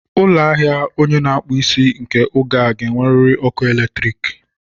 Ụlọ ahịa onye na akpu isi nke oge a ga-enwerịrị ọkụ eletriiki.